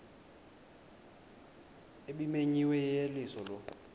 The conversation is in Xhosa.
ebimenyiwe yeyeliso lo